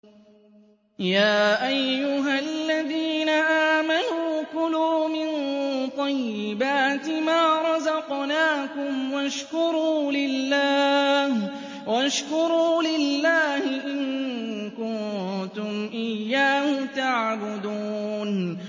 يَا أَيُّهَا الَّذِينَ آمَنُوا كُلُوا مِن طَيِّبَاتِ مَا رَزَقْنَاكُمْ وَاشْكُرُوا لِلَّهِ إِن كُنتُمْ إِيَّاهُ تَعْبُدُونَ